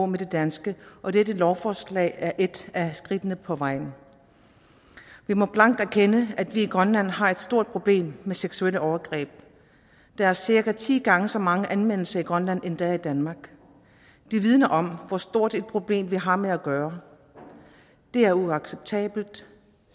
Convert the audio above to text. med de danske og dette lovforslag er et af skridtene på vejen vi må blankt erkende at vi i grønland har et stort problem med seksuelle overgreb der er cirka ti gange så mange anmeldelser i grønland som der er i danmark det vidner om hvor stort et problem vi har med at gøre det er uacceptabelt